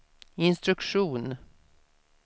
instruktion